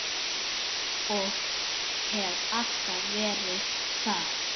Og hef alltaf verið það.